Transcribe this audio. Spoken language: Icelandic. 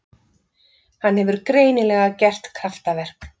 Hann hefur greinilega gert kraftaverk.